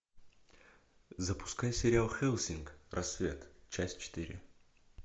запускай сериал хеллсинг рассвет часть четыре